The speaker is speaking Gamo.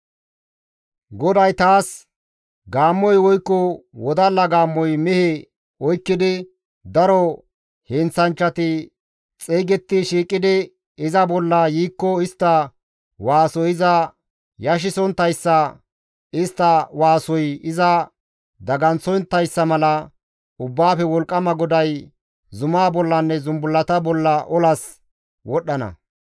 GODAY taas, «Gaammoy woykko wodalla gaammoy mehe oykkidi daro heenththanchchati xeygetti shiiqidi iza bolla yiikko istta waasoy iza yashisonttayssa istta waasoy iza daganththonttayssa mala Ubbaafe Wolqqama GODAY zumaa bollanne zumbullata bolla olas wodhdhana.